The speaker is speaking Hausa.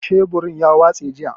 Sheburin ya watse jiya.